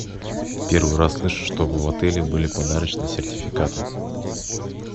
первый раз слышу чтобы в отеле были подарочные сертификаты